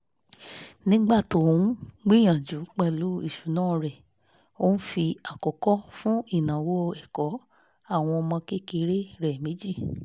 nígbà tó ń gbìyànjú pẹ̀lú ìṣúná rẹ̀ ó fi àkọ́kọ́ fún ináwó ẹ̀kọ́ àwọn ọmọ kékeré rẹ̀ méjì